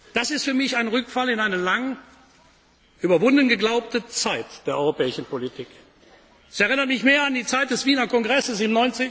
Das ist für mich ein Rückfall in eine lange überwunden geglaubte Zeit der europäischen Politik Es erinnert mich mehr an die Zeit des Wiener Kongresses